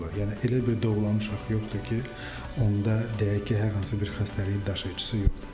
Yəni elə bir doğulan uşaq yoxdur ki, onda deyək ki, hər hansı bir xəstəliyin daşıyıcısı yoxdur.